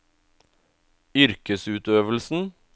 yrkesutøvelsen